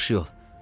Yaxşı yol!